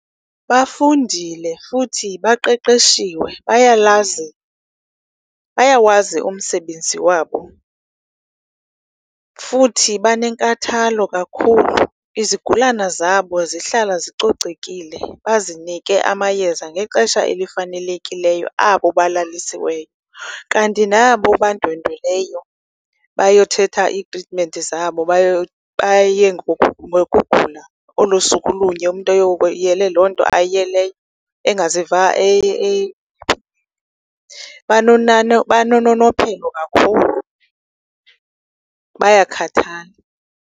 Bafundile futhi baqeqeshiwe, bayalazi, bayawazi umsebenzi wabo futhi banenkathalo kakhulu. Izigulane zabo zihlala zicocekile, bazinike amayeza ngexesha elifanelekileyo abo balalisiweyo. Kanti nabo bandwendweleyo bayothetha iitritimenti zabo, bayo, baye ngokugula olo suku olunye umntu eyele loo nto ayiyeleyo, engaziva banononophelo kakhulu, bayakhathala.